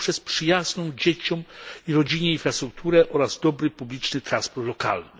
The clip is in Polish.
poprzez przyjazną dzieciom i rodzinie infrastrukturę oraz dobry publiczny transport lokalny.